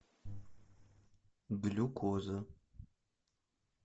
глюкоза